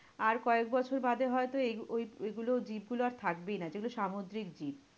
আর কয়েক বছর বাদে হয়তো এইগুলো ওই~ ওইগুলো জীবগুলো আর থাকবেই না? যেগুলো সামুদ্রিক জীব।